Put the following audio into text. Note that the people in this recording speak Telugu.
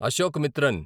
అశోకమిత్రన్